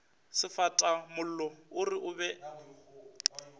sefatamollo o re o be